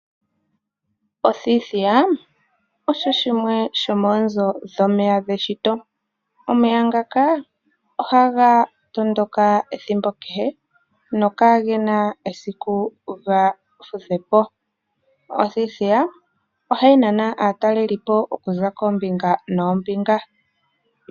Othithiya osho shimwe yomoonzo dhomeya geshito, omeya ngaka oha ga tondoka ethimbo kehe no kagena esiku ga fudhe po. Othithiya oha yi nana aataleli po oku za keembinga neembinga.